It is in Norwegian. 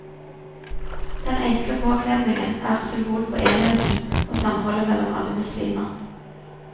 Den enkle påkledningen er symbol på enheten og samholdet mellom alle muslimer.